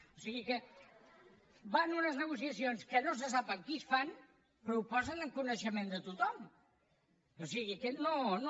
o sigui que van a unes negociacions que no se sap amb qui es fan però ho posen en coneixement de tothom o sigui que no no